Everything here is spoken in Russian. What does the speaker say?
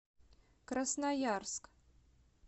красноярск